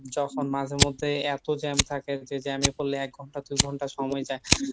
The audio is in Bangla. যখন মাঝে মধ্যে এতো jam থাকে যে jam এ পড়লে এক ঘন্টা দুই ঘন্টা সময় যায়